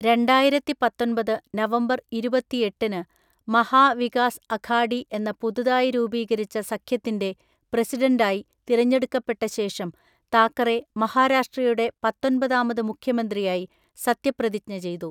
രണ്ടായിരത്തി പത്തൊൻപത് നവംബർ ഇരുപത്തിഎട്ടിന് മഹാ വികാസ് അഘാഡി എന്ന പുതുതായി രൂപീകരിച്ച സഖ്യത്തിൻ്റെ പ്രസിഡണ്ടായി തിരഞ്ഞെടുക്കപ്പെട്ടശേഷം താക്കറെ മഹാരാഷ്ട്രയുടെ പത്തൊന്‍പതാമത് മുഖ്യമന്ത്രിയായി സത്യപ്രതിജ്ഞ ചെയ്തു.